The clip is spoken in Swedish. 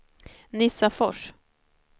Nissafors